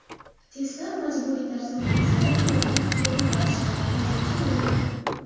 Testlar majburiy tarzda o‘tkaziladimi yoki ixtiyoriy ravishda, hozircha noma’lum.